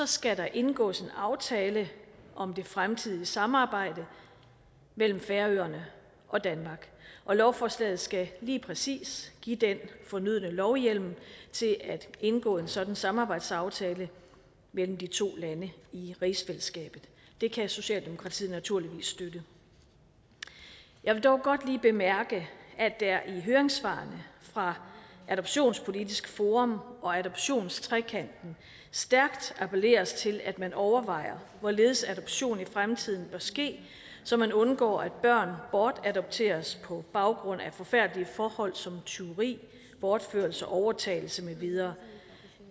skal der indgås en aftale om det fremtidige samarbejde mellem færøerne og danmark og lovforslaget skal lige præcis give den fornødne lovhjemmel til at indgå en sådan samarbejdsaftale mellem de to lande i rigsfællesskabet det kan socialdemokratiet naturligvis støtte jeg vil dog godt lige bemærke at der i høringssvarene fra adoptionspolitisk forum og adoptionstrekanten stærkt appelleres til at man overvejer hvorledes adoption i fremtiden bør ske så man undgår at børn bortadopteres på baggrund af forfærdelige forhold som tyveri bortførelse overtagelse med videre